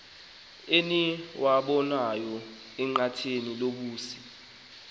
eniwabonayo enqatheni lobusi